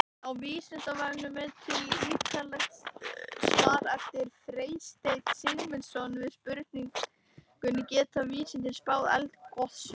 Á Vísindavefnum er til ýtarlegt svar eftir Freystein Sigmundsson við spurningunni Geta vísindin spáð eldgosum?